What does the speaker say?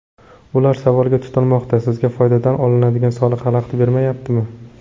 Ular savolga tutilmoqda: sizga foydadan olinadigan soliq xalaqit bermayaptimi?